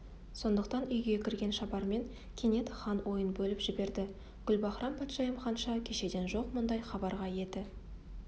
сондықтан үйге кірген шабарман кенет хан ойын бөліп жіберді гүлбаһрам-патшайым ханша кешеден жоқ мұндай хабарға еті